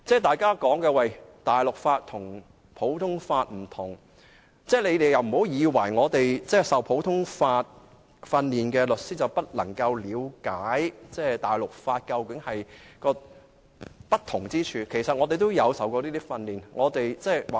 大家都說大陸法與普通法是不同法制，但不要誤會，在香港接受普通法訓練的律師便不能了解普通法與大陸法的不同之處，其實我們也接受過這方面的訓練。